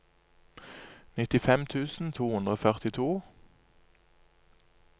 nittifem tusen to hundre og førtito